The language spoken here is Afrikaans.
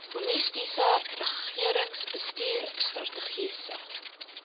holistiese regeringsbestuur strategiese